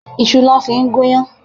Iṣu lọ fi ń gúnyán.